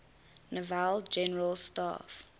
naval general staff